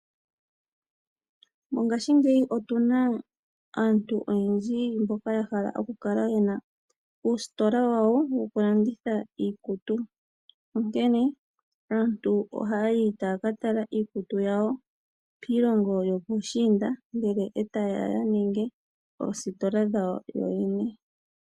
Mongashingeyi otu na aantu oyendji mboka ya hala okukala ye na uusitola wawo wokulanditha iikutu, onkene aantu ohaa yi taaka tala iikutu yawo piilongo yopuushiinda, ndele e taye ya ninge oositola dhawo yoyene.